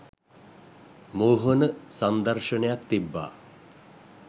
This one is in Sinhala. මෝහන සංදර්ශනයක් තිබ්බා